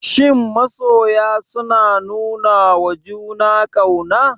Shin masoya suna nunawa juna ƙauna?